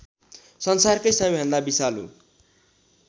संसारकै सबैभन्दा विषालु